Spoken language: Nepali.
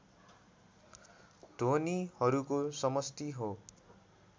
ध्वनिहरूको समष्टि हो